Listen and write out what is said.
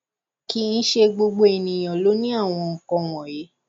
kì í ṣe gbogbo ènìyàn ló ní àwọn nkan wọnyí